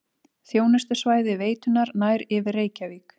Þjónustusvæði veitunnar nær yfir Reykjavík